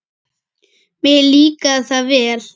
Mér líkaði það vel.